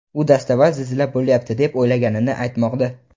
U dastavval zilzila bo‘lyapti deb o‘ylaganini aytmoqda.